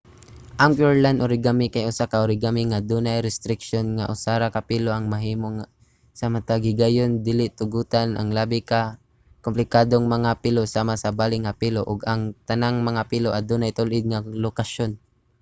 ang pureland origami kay usa ka origami nga dunay restriksiyon nga usa ra ka pilo ang mahimo sa matag higayon dili tugotan ang labi ka komplikadong mga pilo sama sa bali nga pilo ug ang tanang mga pilo adunay tul-id nga lokasyon